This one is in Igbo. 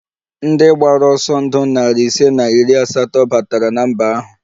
Ndị gbara ọsọ ndụ narị ise na iri asatọ batara na mba ahụ